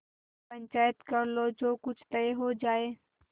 पंचायत कर लो जो कुछ तय हो जाय